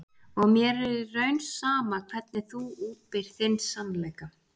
Og mér er í raun sama hvernig þú útbýrð þinn sannleika.